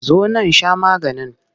Zo nan sha maganin!